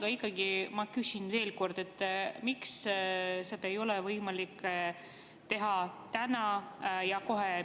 Aga ikkagi ma küsin veel kord, miks ei ole seda võimalik teha täna ja kohe.